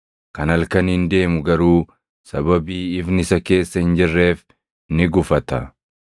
Kan halkaniin deemu garuu sababii ifni isa keessa hin jirreef ni gufata.”